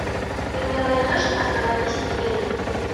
ты мне найдешь остановись и гори